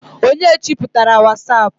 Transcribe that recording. onye cheputara wasapu?